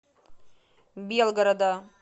белгорода